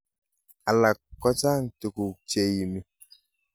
Alak kochang tukuk cheimi.